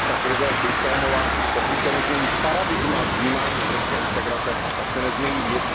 Ta krize je systémová, a pokud se nezmění paradigma vnímání evropské integrace, tak se nezmění nic.